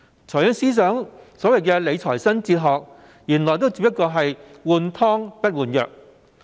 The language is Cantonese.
財政司司長的理財新哲學原來只不過是"換湯不換藥"。